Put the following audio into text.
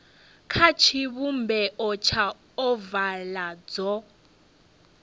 kha tshivhumbeo tsha ovala dzo